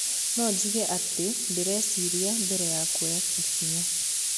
No njuge atĩ ndieciririe mbere ya kuoya ikinya".